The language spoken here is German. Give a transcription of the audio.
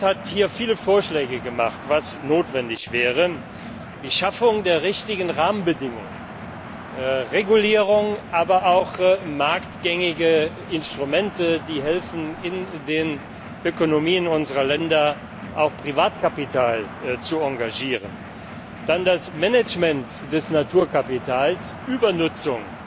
Das Parlament hat hier viele Vorschläge gemacht, was notwendig wäre die Schaffung der richtigen Rahmenbedingungen, Regulierung, aber auch marktgängige Instrumente, die helfen, in den Ökonomien unserer Länder auch Privatkapital zu engagieren, dann das Management des Naturkapitals, um Übernutzung